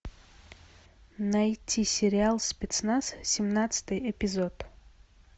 найти сериал спецназ семнадцатый эпизод